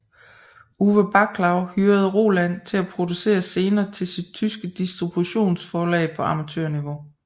Uwe Baclau hyrede Roland til at producere scener til sit tyske distributionsforlag på amatørniveau